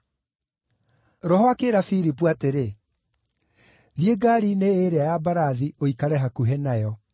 Roho akĩĩra Filipu atĩrĩ, “Thiĩ ngaari-inĩ ĩĩrĩa ya mbarathi ũikare hakuhĩ nayo.”